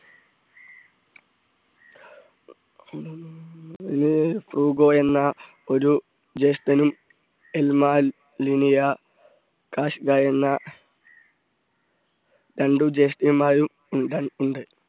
ഫ്രൂഗോ എന്ന ഒരു ജേഷ്ഠനും എൽ മാൽ ലിനിയ കാഷ്ക എന്ന രണ്ടു ജേഷ്ഠത്തിമാരും ഉണ്ട ~ ഉണ്ട്.